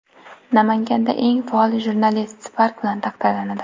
Namanganda eng faol jurnalist Spark bilan taqdirlanadi .